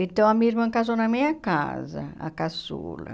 Então, a minha irmã casou na minha casa, a caçula.